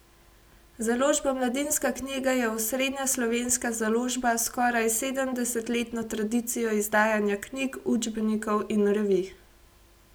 Založba Mladinska knjiga je osrednja slovenska založba s skoraj sedemdesetletno tradicijo izdajanja knjig, učbenikov in revij.